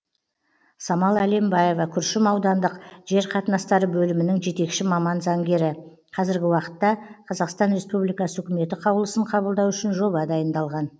самал әлембаева күршім аудандық жер қатынастары бөлімінің жетекші маман заңгері қазіргі уақытта қазақстан республикасы үкіметі қаулысын қабылдау үшін жоба дайындалған